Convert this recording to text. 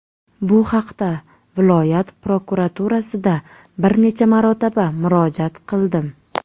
Bu haqda viloyat prokuraturasida bir necha marotaba murojaat qildim.